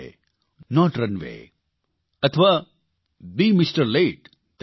this is highway not runway અથવા બે MR